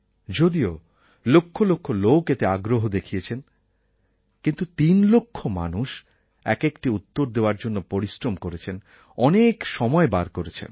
যদিও লক্ষ লক্ষ লোক এতে আগ্রহ দেখিয়েছেন কিন্তু তিন লক্ষ মানুষ একএকটি উত্তর দেওয়ার জন্য পরিশ্রম করেছেন অনেক সময় বার করেছেন